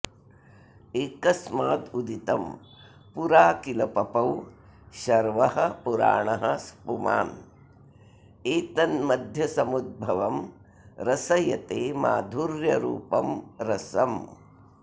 एकस्मादुदितं पुरा किल पपौ शर्वः पुराणः पुमान् एतन्मध्यसमुद्भवं रसयते माधुर्यरूपं रसम्